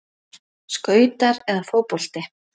Skautar eða fótbolti?